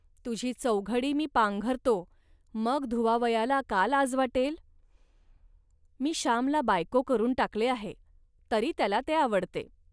तुझी चौघडी मी पांघरतो, मग धुवावयाला का लाज वाटेल. मी श्यामला बायको करून टाकले आहे, तरी त्याला ते आवडते